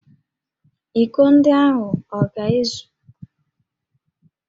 Íkó ndị ahụ ọ ga-ezu?